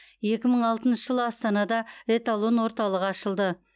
екі мың алтыншы жылы астанада эталон орталығы ашылды